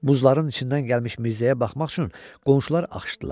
Buzların içindən gəlmiş Mirzəyə baxmaq üçün qonşular axışdılar.